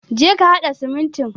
Je ka hada siminti.